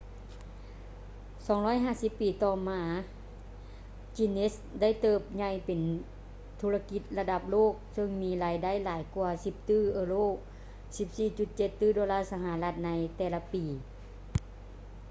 250 ປີຕໍ່ມາ guinness ໄດ້ເຕີບໃຫຍ່ເປັນທຸລະກິດລະດັບໂລກເຊິ່ງມີລາຍໄດ້ຫຼາຍກວ່າ 10 ຕື້ເອີໂຣ 14,7 ຕື້ໂດລາສະຫະລັດ ໃນແຕ່ລະປີ